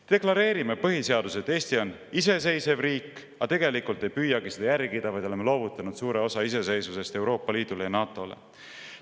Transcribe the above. Me deklareerime põhiseaduses, et Eesti on iseseisev riik, aga tegelikult ei püüagi seda järgida, vaid oleme loovutanud suure osa iseseisvusest Euroopa Liidule ja NATO-le.